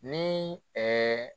Ni